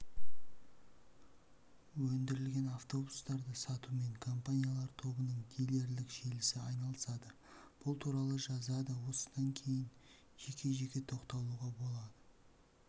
өндірілген автобустарды сатумен компаниялар тобының дилерлік желісі айналысады бұл туралы жазады осыдан кейін жеке-жеке тоқталуға болады